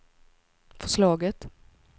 förslaget